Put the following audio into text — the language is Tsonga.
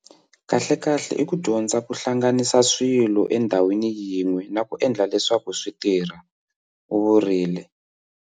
Kahlekahle i ku dyondza ku hlanganisa swilo endhawini yin'we na ku endla leswaku swi tirha, u vurile.